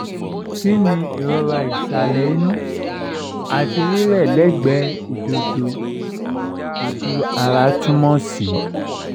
ki ni irora isale inu ati rirẹ legbe idodo/oju ara tumosi